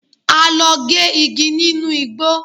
A lọ gé igi nínú igbó.